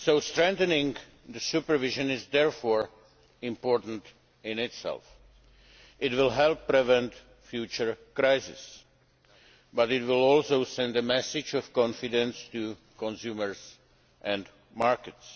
Strengthening supervision is, therefore, important in itself. It will help prevent future crises, but it will also send a message of confidence to consumers and markets.